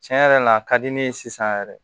Tiɲɛ yɛrɛ la a ka di ne ye sisan yɛrɛ